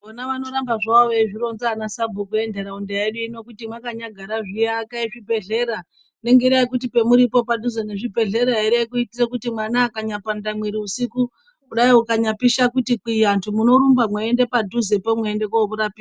Mona vanoramba havo vezvirowunza anasabhuku endaraunda yedu iyi ndokuti makanyagara zviyaka zvibhedhleya nengara yekuti pemuripo padhuze ngezvibhedhleya here ngekuitire kuti mwana akanyapwanda muviri usiku kudayiwo akanyapisha kuti kwiantu munorumba weende padhuze mweende komurapisa